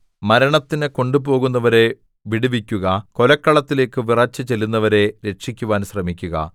മരണത്തിന് കൊണ്ടുപോകുന്നവരെ വിടുവിക്കുക കൊലക്കളത്തിലേക്ക് വിറച്ച് ചെല്ലുന്നവരെ രക്ഷിക്കുവാൻ ശ്രമിക്കുക